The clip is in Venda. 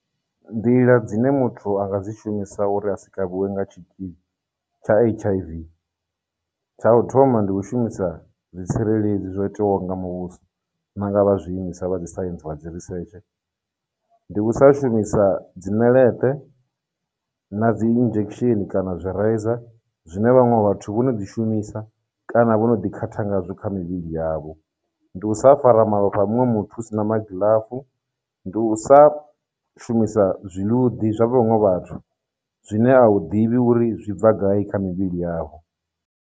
Nḓila dzine muthu a nga dzi shumisa uri a si kavhiwe nga tshitzhili tsha H_I_V, tsha u thoma ndi u shumisa zwitsireledzi zwo itewaho nga muvhuso na nga vha zwiimiswa vha dzi science wa dzi research. Ndi u sa shumisa dziṋeleṱe, na dzi injection, kana zwi reiza zwine vhaṅwe vhathu vho no dzi shumisa kana vho no ḓi khatha ngazwo kha mivhili yavho, ndi u sa fara malofha a munwe muthu u sina magiḽafu, ndi u sa shumisa zwiluḓi zwa vhaṅwe vhathu zwine a u ḓivhi uri zwi bva gai kha mivhili yavho.